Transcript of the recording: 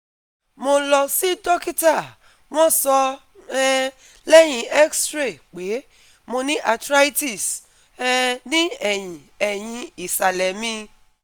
Mo lọ si dokita wọn sọ um lẹhin X-ray pe Mo ni arthritis um ni ẹhin ẹhin isalẹ mi